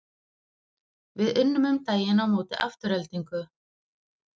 Við unnum um daginn á móti Aftureldingu.